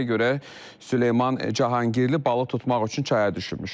Məlumata görə Süleyman Cahangirli balıq tutmaq üçün çaya düşürmüş.